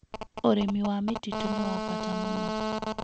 Ũrĩmi wa mĩtitũ nĩ wa bata mũno.